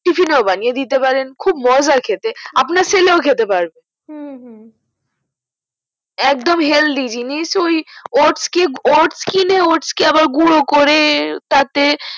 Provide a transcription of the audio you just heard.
tefin ও বানিয়ে দিতে পারেন খুব মজা খেতে আপনার ছেলে ও খেতে পারবে হু হু একদম healthy জিনিস ওই otes কে otes কিনে otes কে আবার গুঁড়ো করে তাতে